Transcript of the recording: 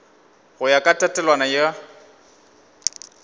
go ya ka tatelano ya